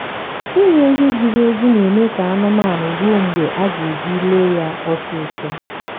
ịnye nri ziri ezi na eme ka anụmanụ ruo mgbe aga ji le ya ọsịsọ